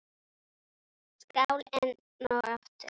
Skál enn og aftur!